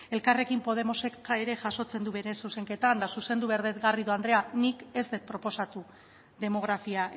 elkarrekin podemosek ere jasotzen du bere zuzenketak eta zuzendu behar dut garrido andrea nik ez dut proposatu demografia